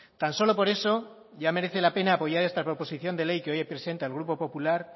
tan solo por eso ya merece la pena apoyar esta proposición de ley que hoy presenta el grupo popular